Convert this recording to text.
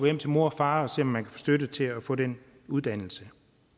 hjem til mor og far og se om man kan få støtte til at få den uddannelse